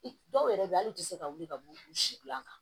I dɔw yɛrɛ bɛ yen hali i tɛ se ka wuli ka b'u si gilan